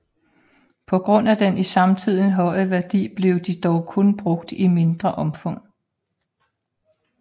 På grund af den i samtiden høje værdi blev de dog kun brugt i mindre omfang